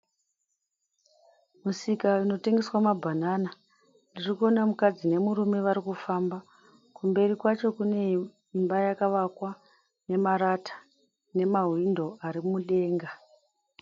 Musika unotengeswa mabanana. Ndirikuona mukadzi nemurume varikufamba, kumberi kwacho kune imba yakavakwa nemarata nemahwindo ari mudenga.